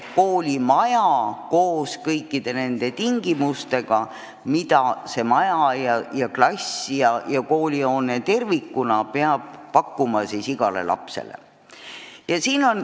Koolimaja koos kõikide nende tingimustega, mida klassid ja hoone tervikuna pakuvad igale lapsele.